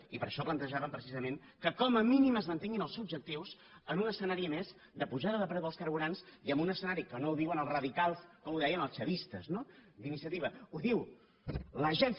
i per això plantejàvem precisament que com a mínim es mantinguin els objectius en un escenari a més de pujada de preu dels carburants i en un escenari que no ho diuen els radicals com ho deien els chavistes no d’iniciativa ho diu l’agència